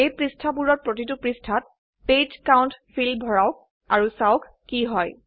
এই পৃষ্ঠাবোৰৰ প্ৰতিটো পৃষ্ঠাত পেজ কাউণ্ট ফিল্দ ভৰাওক আৰু চাওক কি হয়